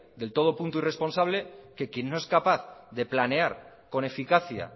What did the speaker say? de todo punto irresponsable que quien no es capaz de planear con eficacia